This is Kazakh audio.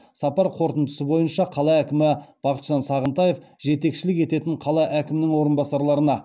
сапар қорытындысы бойынша қала әкімі бақытжан сағынтаев жетекшілік ететін қала әкімінің орынбасарларына